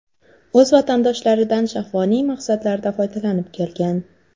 O‘z vatandoshlaridan shahvoniy maqsadlarda foydalanib kelgan.